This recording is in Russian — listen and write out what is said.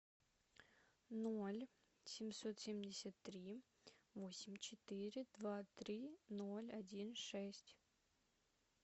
ноль семьсот семьдесят три восемь четыре два три ноль один шесть